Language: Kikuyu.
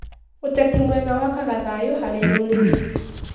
Ũteti mwega wakaga thayũ harĩ rũrĩrĩ.